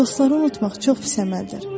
Dostları unutmaq çox pis əməldir.